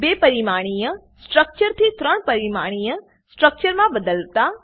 બે પરિમાણીય સ્ટ્રક્ચર થી ત્રણ પરિમાણીય સ્ટ્રક્ચર માં બદલતા